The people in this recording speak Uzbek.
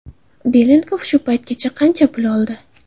Belenkov shu paytgacha qancha pul oldi?